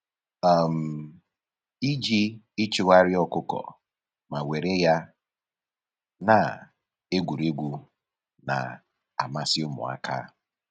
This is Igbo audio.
um Iji ịchụgharị ọkụkọ ma were ya na-egwuregwu na-amasị ụmụaka